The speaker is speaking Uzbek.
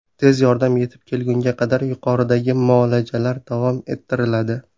Tez yordam yetib kelgunga qadar yuqoridagi muolajalar davom ettiriladi.